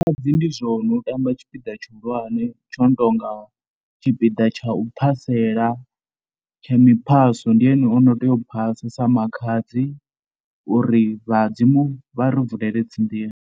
Makhadzi ndi zwone u tamba tshipiḓa tshihulwane tsho no tou nga tshipiḓa tsha u phasela. tsha miphaso, ndi ene ono tea u phasa sa makhadzi uri vhadzimu vha ri vulele dzi nḓila.